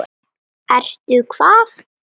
Ertu hvað?